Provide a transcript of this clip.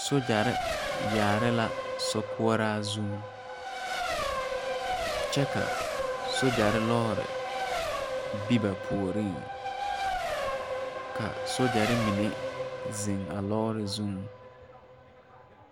Sogyare yaare la sokɔraa zuŋ kyɛ ka sogyare loori be ba puoriŋ ka sogyare mine zeŋ a loori zuŋ.